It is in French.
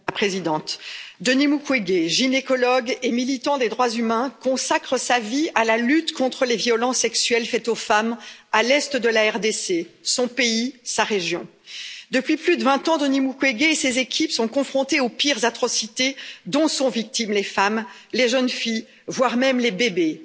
Madame la Présidente, Denis Mukwege, gynécologue et militant des droits humains, consacre sa vie à la lutte contre les violences sexuelles faites aux femmes à l'est de la RDC, son pays, sa région. Depuis plus de 20 ans, Denis Mukwege et ses équipes sont confrontés aux pires atrocités dont sont victimes les femmes, les jeunes filles voire même les bébés